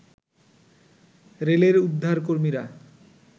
রেলের উদ্ধারকর্মীরা